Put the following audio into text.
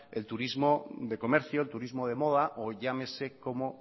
el turismo de comercio el turismo de moda o llámese como